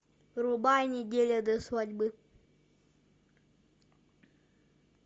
врубай неделя до свадьбы